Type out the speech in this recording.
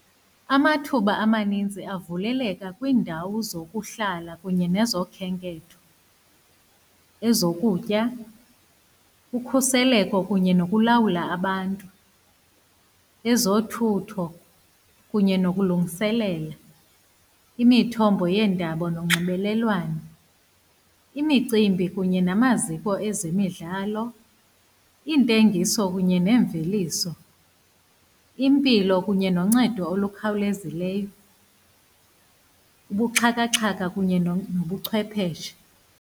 Amathuba amaninzi avuleleka kwiindawo zokuhlala kunye nezokhenketho, ezokutya, ukhuseleko kunye nokulawula abantu. Ezothutho kunye nokulungiselela imithombo yeendaba nonxibelelwano, imicimbi kunye namaziko ezemidlalo, iintengiso kunye neemveliso, impilo kunye noncedo olukhawulezileyo, ubuxhakaxhaka kunye nobuchwepheshe.